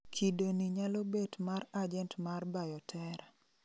kido ni nyalo bet mar agent mar bioterror